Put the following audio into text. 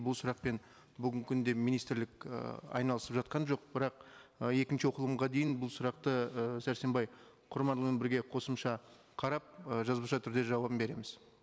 бұл сұрақпен бүгінгі күнде министрлік ы айналысып жатқан жоқ бірақ ы екінші оқылымға дейін бұл сұрақты ы сәрсенбай құрманұлымен бірге қосымша қарап ы жазбаша түрде жауабын береміз